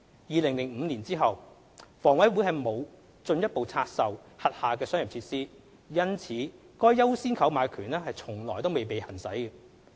2005年後，房委會沒有進一步拆售轄下商業設施，因此該"優先購買權"從未被行使。